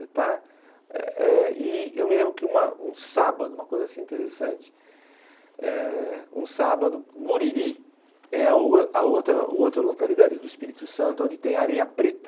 Você está eh eh e eu me lembro que uma um sábado, uma coisa interessante, eh um sábado, Guriri, é o a outra localidade do Espírito Santo onde tem areia preta.